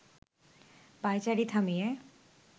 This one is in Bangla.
পায়চারি থামিয়ে